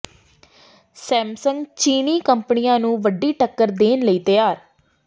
Samsung ਚੀਨੀ ਕੰਪਨੀਆਂ ਨੂੰ ਵੱਡੀ ਟੱਕਰ ਦੇਣ ਲਈ ਤਿਆਰ